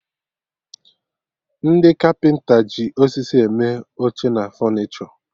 Ndị Kapịnta ji osisi eme oche na fọnichọ